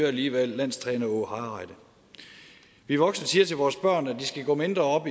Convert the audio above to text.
alligevel landstræner åge hareide vi voksne siger til vores børn at de skal gå mindre op